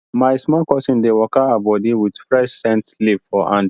my small cousin dey waka her body with fresh scent leaf for hand